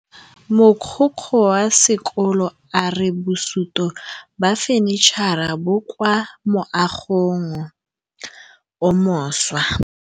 Mogokgo wa sekolo a re bosutô ba fanitšhara bo kwa moagong o mošwa.